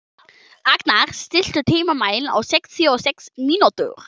Agnar, stilltu tímamælinn á sextíu og sex mínútur.